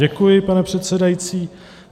Děkuji, pane předsedající.